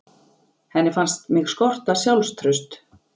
Henni fannst mig skorta sjálfstraust.